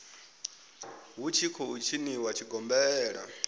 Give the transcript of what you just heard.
hu tshi khou tshiniwa tshigombela